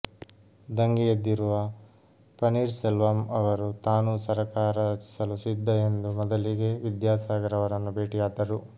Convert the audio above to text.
ದಂಗೆಯೆದ್ದಿರುವ ಪನ್ನೀರ್ ಸೆಲ್ವಂ ಅವರು ತಾನೂ ಸರಕಾರ ರಚಿಸಲು ಸಿದ್ಧ ಎಂದು ಮೊದಲಿಗೇ ವಿದ್ಯಾಸಾಗರ್ ಅವರನ್ನು ಭೇಟಿಯಾದರು